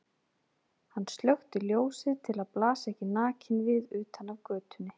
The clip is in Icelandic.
Hann slökkti ljósið til að blasa ekki nakinn við utan af götunni.